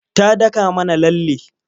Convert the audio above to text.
Ta daka mana lalle.